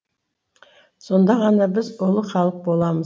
сонда ғана біз ұлы халық боламыз